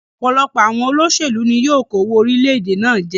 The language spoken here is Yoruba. Òpòlopò àwon olósèlú ni yio kówó orílẹ̀dè náà je